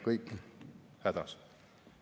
… siis oleme me kõik hädas.